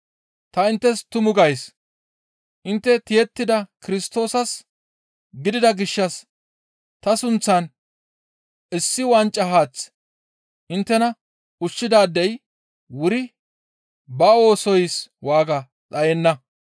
Ta inttes tumu gays; intte tiyettida Kirstoosas gidida gishshas ta sunththan issi wanca haath inttena ushshidaadey wuri ba oosoys waaga dhayenna.